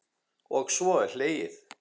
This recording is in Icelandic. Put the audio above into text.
Og svo er hlegið.